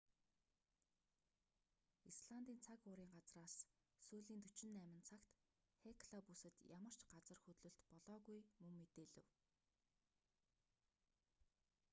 исландын цаг уурын газраас сүүлийн 48 цагт хекла бүсэд ямар ч газар хөдлөлт болоогүй мөн мэдээлэв